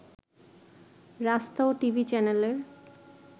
রাস্তাও টিভি চ্যানেলের